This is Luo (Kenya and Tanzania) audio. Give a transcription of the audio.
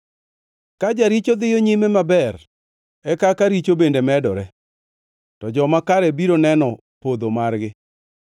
Ka jaricho dhiyo nyime maber, e kaka richo bende medore, to joma kare biro neno podho margi.